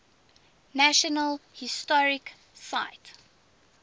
national historic site